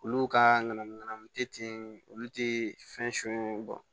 Olu ka ŋanamu ŋanamu te yen olu te fɛn sun bɔn